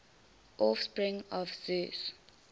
offspring of zeus